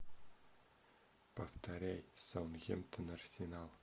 повторяй саутгемптон арсенал